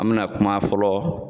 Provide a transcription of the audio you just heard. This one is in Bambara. An mi na kuma fɔlɔ